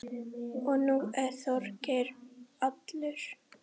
Og nú er Þorgeir allur.